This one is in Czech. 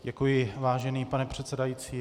Děkuji, vážený pane předsedající.